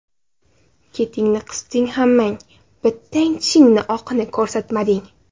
Ketingni qisding hammang, bittang tishingni oqini ko‘rsatmading.